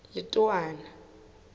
letowana